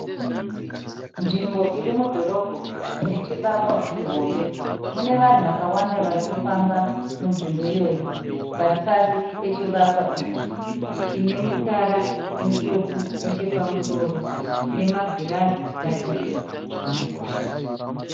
Nzvimbo iri mudhorobho inechivakwa chihombe. Munevanhu vakawanda varikufamba munzvimbo iyoyi varipasi pechivakwa ichi. Chinemutsara mutsvuku nechepamusoro chine magirazi padivi.